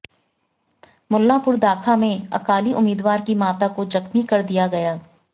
मुल्लांपुर दाखा में अकाली उम्मीदवार की माता को जख्मी कर दिया गया